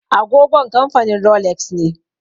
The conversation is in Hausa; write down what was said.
Agogon kamfanin Rolex ne.